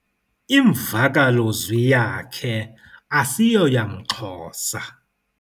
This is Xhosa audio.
Imvakalozwi yakhe asiyoyamXhosa.